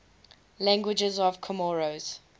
languages of comoros